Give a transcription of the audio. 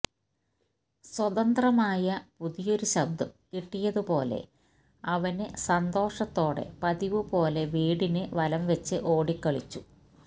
സ്വതന്ത്രമായ പുതിയൊരുശബ്ദം കിട്ടിയതുപോലെ അവന് സന്തോഷത്തോടെ പതിവുപോലെ വീടിന് വലംവെച്ച് ഓടിക്കളിച്ചു